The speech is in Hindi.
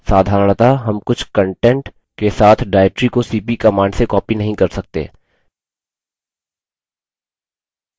साधारणतः हम कुछ content के साथ directory को cp command से copy नहीं कर सकते